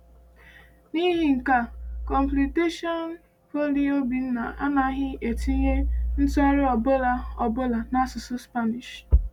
N’ihi nke a, Complutensian Polyg Obinna anaghị etinye ntụgharị ọ bụla ọ bụla n’asụsụ Spanish.